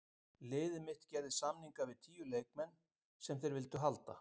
Liðið mitt gerði samninga við tíu leikmenn sem þeir vildu halda.